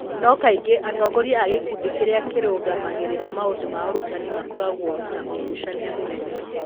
No kaingĩ atongoria a gĩkundi kĩrĩa kĩrũgamagĩrĩra maũndũ ma ũrutani makoragwo na ũgucania mũnene.'